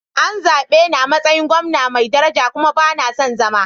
An zabe ni a matsayin gwamna mai daraja kuma ba na son zama.